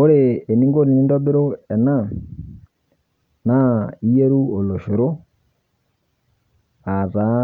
Ore eninko tenintobiru ena naa iyeru oloshoro aataa